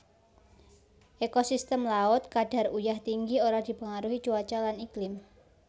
Ekosistem laut kadar uyah tinggi ora dipengaruhi cuaca lan iklim